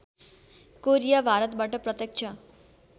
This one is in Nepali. कोरिया भारतबाट प्रत्यक्ष